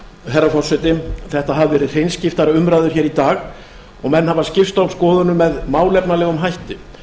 herra forseti þetta hafa verið hreinskiptnar umræður hér í dag og menn hafa skipst á skoðunum með málefnalegum hætti